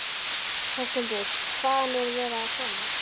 Höskuldur: Hvaðan er verið að koma?